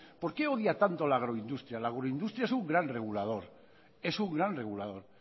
por qué odia tanto la agroindustria la agroindustria es un gran regulador es un gran regulador